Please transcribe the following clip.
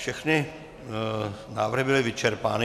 Všechny návrhy byly vyčerpány.